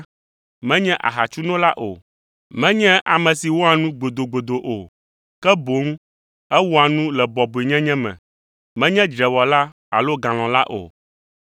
menye ahatsunola o, menye ame si wɔa nu gbodogbodo o, ke boŋ ewɔa nu le bɔbɔenyenye me, menye dzrewɔla alo galɔ̃la o.